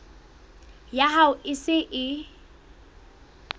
ya hao e se e